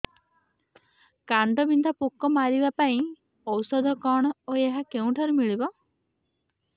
କାଣ୍ଡବିନ୍ଧା ପୋକ ମାରିବା ପାଇଁ ଔଷଧ କଣ ଓ ଏହା କେଉଁଠାରୁ ମିଳିବ